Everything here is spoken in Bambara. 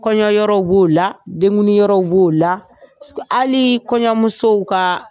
Kɔɲɔ yɔrɔw b'o la, denkundi yɔrɔw b'o la, hali kɔɲɔmusow ka